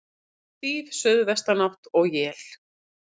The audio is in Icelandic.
Stíf suðvestanátt og él